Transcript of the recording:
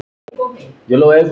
Fyrir hverju veit ég ekki.